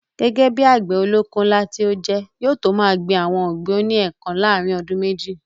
Gẹ́gẹ́ bíi àgbẹ̀ olóko ńlá tí ó jẹ́, yóò tó máa gbin àwọn ọ̀gbìn oní ẹ̀kan láàrin ọdún méjì